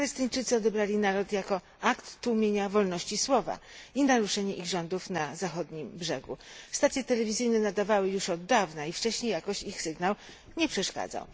Palestyńczycy odebrali nalot jako akt tłumienia wolności słowa i naruszenie ich rządów na Zachodnim Brzegu. Stacje telewizyjne nadawały już od dawna i wcześniej jakoś ich sygnał nie przeszkadzał.